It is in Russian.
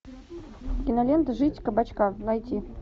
кинолента жизнь кабачка найти